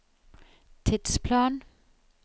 tidsplan